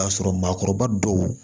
O y'a sɔrɔ maakɔrɔba dɔw